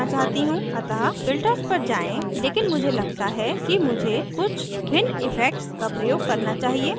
अतः filters पर जाएँ लेकिन मुझे लगता है कि मुझे कुछ भिन्न इफेक्ट्स का प्रयोग करना चाहिए